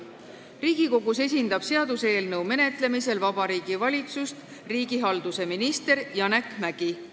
Riigikogus esindab seaduseelnõu menetlemisel Vabariigi Valitsust riigihalduse minister Janek Mäggi.